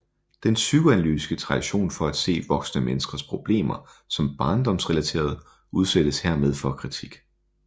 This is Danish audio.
Den psykoanalytiske tradition for at se voksne menneskers problemer som barndomsrelaterede udsættes dermed for kritik